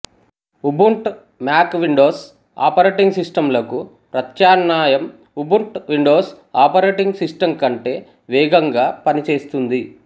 Ubuntu Mac Windows operating system లకు ప్రత్యాన్మాయం Ubuntu Windows operating system కంటే వేగంగా పనిచేస్తుంది